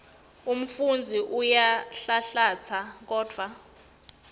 umfundzi uyanhlanhlatsa kodvwa